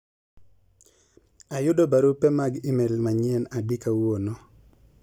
ayudo barupe mag email manyien adi kawuono